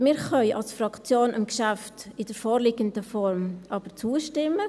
Wir können als Fraktion aber dem Geschäft in der vorliegenden Form zustimmen.